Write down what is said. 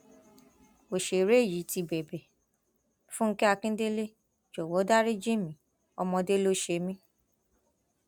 ọsẹrẹ yìí ti bẹbẹ fúnge akíndélé jọwọ dariji mi ọmọdé ló ṣe mí